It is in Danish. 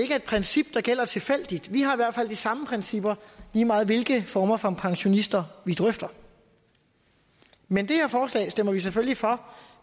er et princip der gælder tilfældigt vi har i hvert fald de samme principper lige meget hvilke former for pensionister vi drøfter men det her forslag stemmer vi selvfølgelig for